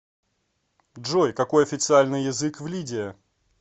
джой какой официальный язык в лидия